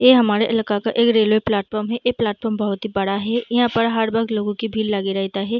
ऐ हमारे इलाका का एक रेलवे प्लेटफार्म है ऐ प्लेटफार्म बहुत ही बड़ा है इहाँ पर हर वक्त लोगों की भीड़ लगा रहता है।